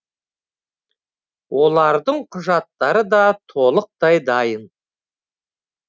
олардың құжаттары да толықтай дайын